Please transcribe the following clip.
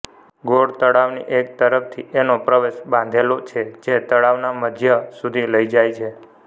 ગોળ તળાવની એક તરફથી એનો પ્રવેશ બાંધેલો છે જે તળાવના મધ્ય સુધી લઇ જાય છે